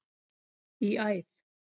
í æð.